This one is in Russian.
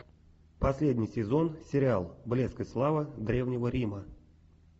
последний сезон сериал блеск и слава древнего рима